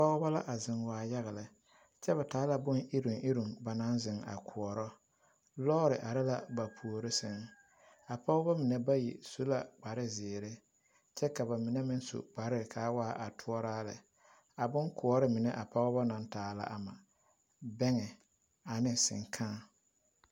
Pɔgbɔ la a zeŋ waa yaga lɛ kyɛ ba taa la bon iruŋ iruŋ ba naŋ zeŋ a koɔrɔ lɔɔre are la ba puore sɛŋ a pɔgbɔ mine ba yi su la kparrezeere kyɛ ka ba mine meŋ su kparɛɛ kaa waa a toɔraa lɛ a bomkoɔre mine a pɔgbɔ naŋ taa la ama bɛŋɛ ane seŋkaa.